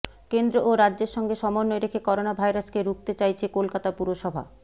কেন্দ্র ও রাজ্যের সঙ্গে সমন্বয় রেখে করোনা ভাইরাসকে রুখতে চাইছে কলকাতা পুরসভা